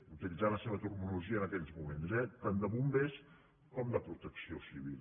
utilitzant la seva terminologia en aquells moments eh tant de bombers com de protecció civil